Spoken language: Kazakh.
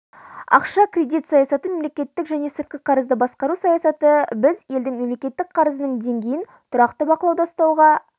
ақша-кредит саясаты мемлекеттік және сыртқы қарызды басқару саясаты біз елдің мемлекеттік қарызының деңгейін тұрақты бақылауда ұстауға